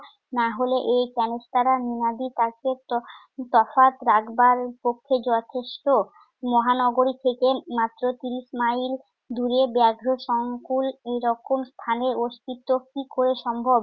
নাহলে এই ক্যনেস্তারা তফাৎ রাখবার পক্ষে যথেষ্ঠ। মহানগরী থেকে মাত্র তিরিশ মাইল দূরে ব্যঘ্র সংকুল এই স্থানে অস্তিত্ব কি করে সম্ভব?